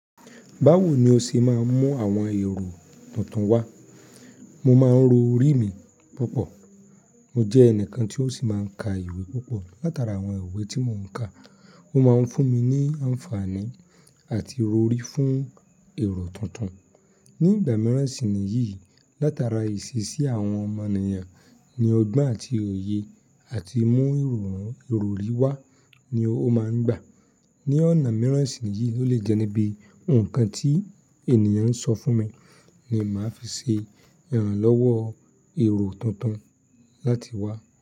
Báwo ni o ṣe máa ń mú àwọn èrò tuntun wá? Mo máa ń ro orí mi púpọ̀. Mo jẹ́ ẹnìkan tí ó sì máa ń ka ìwé púpọ̀. Látara àwọn ìwé tí mò ń ka, ó máa ń fún mi ní àǹfààní àti ìrọrí fún èrò tuntun. Ni ìgbà mìíràn sì nìyí, látara ìṣeṣí àwọn ọmọnìyàn ni ọgbọ́n àti òye àti mú ìrọ̀rí wá ni ó máa ń gbà. Ni ọ̀nà mìíràn sì nìyí, ó lè jẹ́ níbi nǹkan tí ènìyàn ń sọ fún mi ni màá fi ṣe ìrànlọ́wọ́ èrò tuntun láti wá.